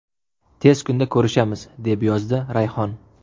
Tez kunda ko‘rishamiz”, deb yozdi Rayhon.